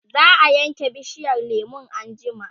zaa Yanke bishiyar lemun anjima